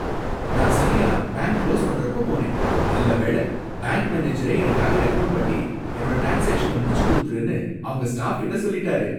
நான் சரியா bank close பண்றப்ப போனேன். நல்ல வேள! பேங்க் மேனேஜரே எனக்காக ரெகமன்ட் பண்ணி என்னோட ட்ரான்சாக்ஷன முடிச்சுக் குடுத்துருன்னு அவங்க ஸ்டாஃப் கிட்ட சொல்லிட்டாரு.